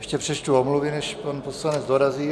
Ještě přečtu omluvy, než pan poslanec dorazí.